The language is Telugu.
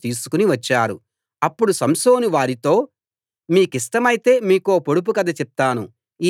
ఆమె బంధువులు అతణ్ణి చూడగానే అతనితో ఉండటానికి ముప్ఫై మంది స్నేహితులను తీసుకుని వచ్చారు